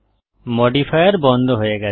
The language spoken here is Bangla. মডিফায়ার বন্ধ হয়ে গেছে